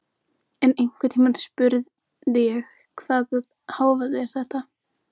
En einhvern tímann spurði ég: Hvaða hávaði var þetta?